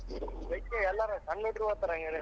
ಯೆಲ್ಲಾರು ಸಣ್ ಹುಡುಗ್ರು ಹೋಗ್ತಾರಾ ಹಂಗಾರೆ.